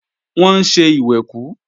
Wọ́n ń ṣe ìwẹ̀kú